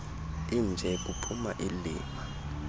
inje kuphuma ilima